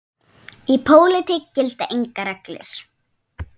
Í pólitík gilda engar reglur.